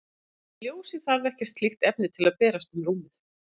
En ljósið þarf ekkert slíkt efni til að berast um rúmið.